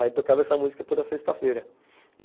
Aí, tocava essa música toda sexta-feira.